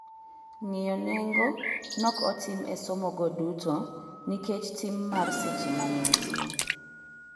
Ng'iyo nengo nok otim e somo go duto nikech tim mar seche manenitie